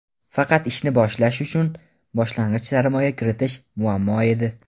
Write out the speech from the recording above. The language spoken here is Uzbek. faqat ishni boshlash uchun boshlang‘ich sarmoya kiritish muammo edi.